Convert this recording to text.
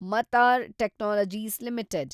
ಮತಾರ್ technologies limited